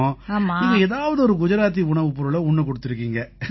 நீங்க ஏதாவது ஒரு குஜராத்தி உணவுப்பொருளை உண்ணக் கொடுத்திருக்கீங்க